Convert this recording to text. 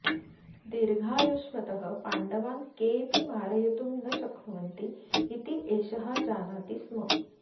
दीर्घायुष्मतः पाण्डवान् केऽपि मारयितुं न शक्नुवन्ति इति एषः जानाति स्म